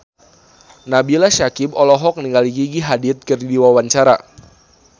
Nabila Syakieb olohok ningali Gigi Hadid keur diwawancara